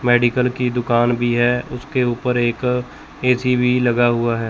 Medical की दुकान भी है उसके ऊपर एक ए_सी भी लगा हुआ है।